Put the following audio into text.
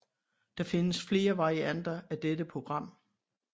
Det findes flere varianter af dette program